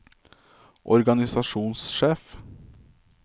organisasjonssjef